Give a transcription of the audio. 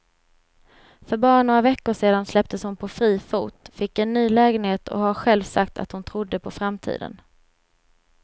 För bara några veckor sedan släpptes hon på fri fot, fick en ny lägenhet och har själv sagt att hon trodde på framtiden.